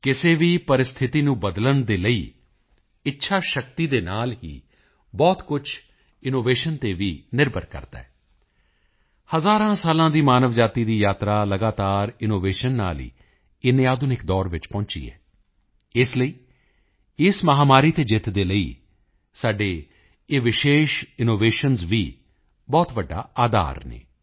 ਕਿਸੇ ਵੀ ਪਰਿਸਥਿਤੀ ਨੂੰ ਬਦਲਣ ਲਈ ਇੱਛਾਸ਼ਕਤੀ ਦੇ ਨਾਲ ਹੀ ਬਹੁਤ ਕੁਝ ਇਨੋਵੇਸ਼ਨ ਤੇ ਵੀ ਨਿਰਭਰ ਕਰਦਾ ਹੈ ਹਜ਼ਾਰਾਂ ਸਾਲਾਂ ਦੀ ਮਾਨਵਜਾਤੀ ਦੀ ਯਾਤਰਾ ਲਗਾਤਾਰ ਇਨੋਵੇਸ਼ਨ ਨਾਲ ਹੀ ਇੰਨੇ ਆਧੁਨਿਕ ਦੌਰ ਵਿੱਚ ਪਹੁੰਚੀ ਹੈ ਇਸ ਲਈ ਇਸ ਮਹਾਮਾਰੀ ਤੇ ਜਿੱਤ ਦੇ ਲਈ ਸਾਡੇ ਇਹ ਵਿਸ਼ੇਸ਼ ਇਨੋਵੇਸ਼ਨਜ਼ ਵੀ ਬਹੁਤ ਵੱਡਾ ਅਧਾਰ ਹਨ